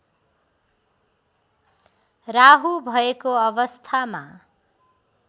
राहु भएको अवस्थामा